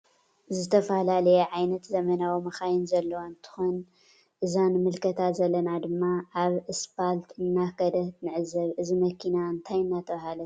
ዝተፈላለዩ ዓይነታት ዘመናዊ መካይን ዘለዎ እንትክን እዛ ንምልከታ ዘለና ድማ አብ እስባልት እናከደት ንዕዘብ እዚ መኪና እንታይ እናተባህለት ትፅዋዕ ?